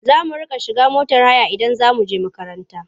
Za a mu riƙa shiga motar haya idan za mu he makaranta.